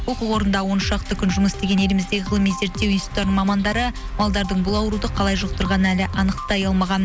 оқу орнында он шақты күн жұмыс істеген еліміздегі ғылыми зерттеу институттарының мамандары малдардың бұл ауруды қалай жұқтырғаның әлі анықтай алмаған